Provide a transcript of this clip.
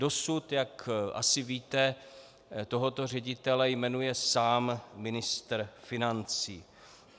Dosud, jak asi víte, tohoto ředitele jmenuje sám ministr financí.